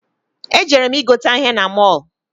Ejere m i gote ihe na mọl.